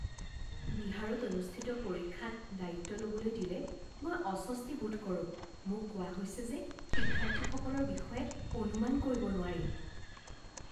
বিহাৰত অনুষ্ঠিত পৰীক্ষাত দায়িত্ব ল'বলৈ দিলে মই অস্বস্তিবোধ কৰোঁ। মোক কোৱা হৈছে যে শিক্ষাৰ্থীসকলৰ বিষয়ে অনুমান কৰিব নোৱাৰি।